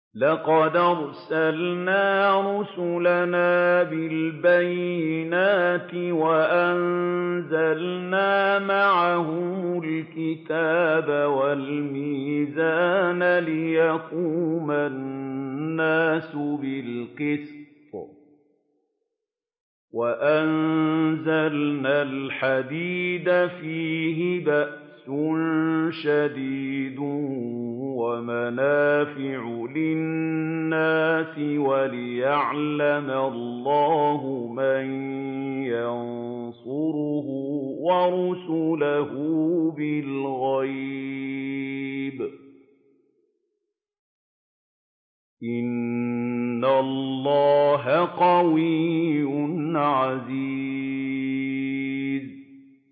لَقَدْ أَرْسَلْنَا رُسُلَنَا بِالْبَيِّنَاتِ وَأَنزَلْنَا مَعَهُمُ الْكِتَابَ وَالْمِيزَانَ لِيَقُومَ النَّاسُ بِالْقِسْطِ ۖ وَأَنزَلْنَا الْحَدِيدَ فِيهِ بَأْسٌ شَدِيدٌ وَمَنَافِعُ لِلنَّاسِ وَلِيَعْلَمَ اللَّهُ مَن يَنصُرُهُ وَرُسُلَهُ بِالْغَيْبِ ۚ إِنَّ اللَّهَ قَوِيٌّ عَزِيزٌ